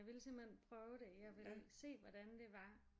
Jeg ville simpelthen prøve det jeg ville se hvordan det var